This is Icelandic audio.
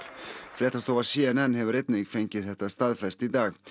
fréttastofa c n n hefur einnig fengið þetta staðfest í dag